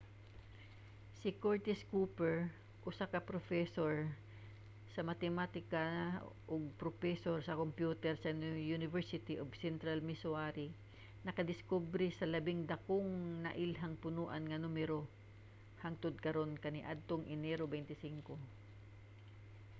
si curtis cooper usa ka propesor sa matematika ug propesor sa kompyuter sa university of central missouri nakadiskubre sa labing dakong nailhang punoan nga numero hangtod karon kaniadtong enero 25